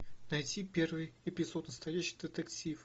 найти первый эпизод настоящий детектив